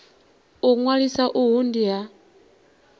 u ṅwalisa uhu ndi ha